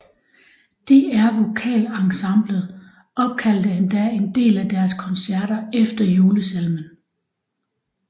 DR VokalEnsemblet opkaldte endda en af deres koncerter efter julesalmen